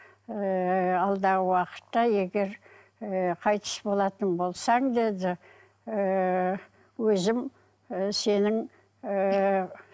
ыыы алдағы уақытта егер ыыы қайтыс болатын болсаң деді ыыы өзім ы сенің ыыы